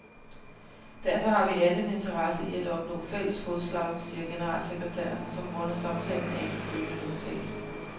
Derfor har vi alle en interesse i at opnå fælles fodslag, siger generalsekretæren, som runder samtalen af med følgende udtalelse.